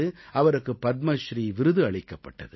அவருக்குப் பத்மஸ்ரீ விருது அளிக்கப்பட்டது